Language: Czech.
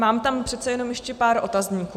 Mám tam přece jen ještě pár otazníků.